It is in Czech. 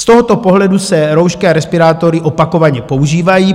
Z tohoto pohledu se roušky a respirátory opakovaně používají.